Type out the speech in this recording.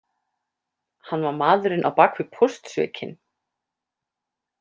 Hann var maðurinn á bak við póstsvikin.